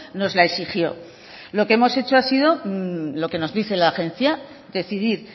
nos la exigió lo que hemos hecho ha sido lo que nos dice la agencia decidir